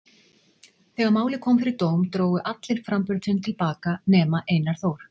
Þegar málið kom fyrir dóm drógu allir framburð sinn til baka nema Einar Þór.